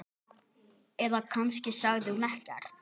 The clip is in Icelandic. Eða kannski sagði hún ekkert.